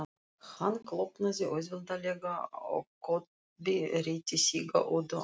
Hann klofnaði auðveldlega og Kobbi rétti Sigga Öddu annað stykkið.